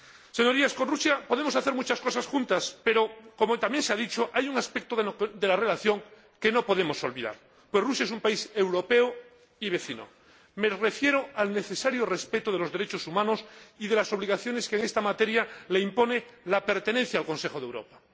Señorías, con Rusia podemos hacer muchas cosas juntos, pero, como también se ha dicho, hay un aspecto de la relación que no podemos olvidar, pues Rusia es un país europeo y vecino me refiero al necesario respeto de los derechos humanos y de las obligaciones que, en esta materia, le impone la pertenencia al Consejo de Europa.